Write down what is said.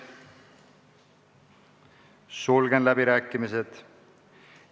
Sulgen läbirääkimised.